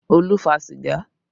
Olu fa sìgá